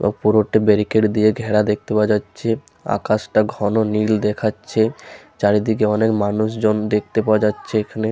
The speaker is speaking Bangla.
ও পুরোটে ব্যারিকেট দিয়ে ঘেরা দেখতে পাওয়া যাচ্ছে। আকাশটা ঘন নীল দেখাচ্ছে। চারিদিকে অনেক মানুষ জন দেখতে পাওয়া যাচ্ছে এখানে ।